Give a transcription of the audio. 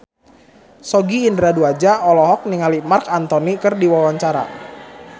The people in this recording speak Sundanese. Sogi Indra Duaja olohok ningali Marc Anthony keur diwawancara